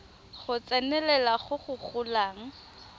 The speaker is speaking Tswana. go tsenelela go go golang